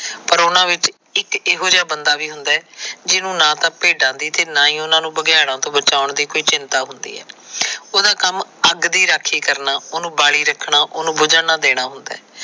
ਪਰ ਉਹਨਾਂ ਵਿਚ ਇਕ ਇਹੋ ਜਿਹਾ ਬੰਦਾ ਵੀ ਹੁੰਦਾ ਹੈ। ਜਿਹਨੂੰ ਨਾ ਤਾਂ ਭੇਡਾਂ ਦੀ ਤੇ ਨਾ ਹੀ ਉਹਨਾਂ ਨੂੰ ਬਘਿਆੜਾਂ ਤੋ ਬਚਾਉਣ ਦੀ ਚਿੰਤਾ ਹੁੰਦੀ ਆ। ਉਹਦਾ ਕੰਮ ਅੱਗ ਦੀ ਰਾਖੀ ਕਰਨਾ। ਉਹਨੂੰ ਬਾਲੀ ਰੱਖਣਾ ਓਹਨੂੰ ਬੁੱਝਣ ਨਾ ਦੇਣਾ ਹੁੰਦਾ ਹੈ।